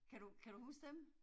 Kan du, kan du huske dem?